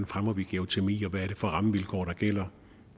fremmer geotermi hvad det er for rammevilkår der gælder